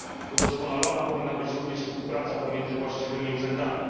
Udoskonalona powinna być również współpraca pomiędzy właściwymi urzędami.